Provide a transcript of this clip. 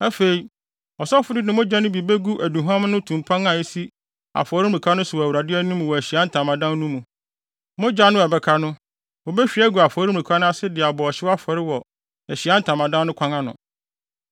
Afei, ɔsɔfo no de mogya no bi begu aduhuam no tumpan a esi afɔremuka no so no wɔ Awurade anim wɔ Ahyiae Ntamadan no mu; mogya no a ɛbɛka no, wobehwie agu afɔremuka no ase de abɔ ɔhyew afɔre wɔ Ahyiae Ntamadan no kwan ano.